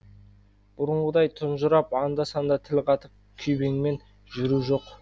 бұрынғыдай тұнжырап анда санда тіл қатып күйбеңмен жүру жоқ